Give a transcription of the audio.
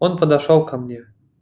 он подошёл ко мне